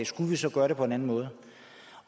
skulle vi så gøre det på en anden måde